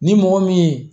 Ni mɔgɔ min ye